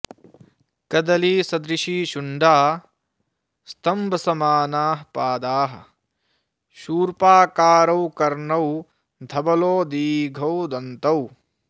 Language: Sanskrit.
कदलीसदृशी शुण्डा स्तम्भसमानाः पादाः शूर्पाकारौ कर्णौ धवलौ दीघौ दन्तौ